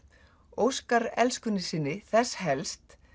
óskar elskunni sinni þess helst